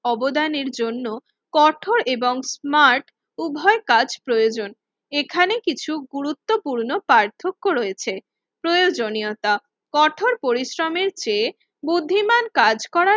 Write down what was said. অবদানের জন্য কঠোর এবং স্মার্ট উভয়ের কাজ প্রয়োজন। এখানে কিছু গুরুত্বপূর্ণ পার্থক্য রয়েছে প্রয়োজনীয়তা কঠোর পরিশ্রমের চেয়ে বুদ্ধিমান কাজ করার